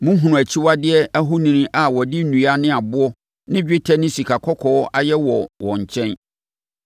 Mohunuu akyiwadeɛ ahoni a wɔde nnua ne aboɔ ne dwetɛ ne sikakɔkɔɔ ayɛ wɔ wɔn nkyɛn.